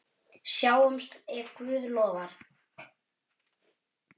Sjáumst ef Guð lofar.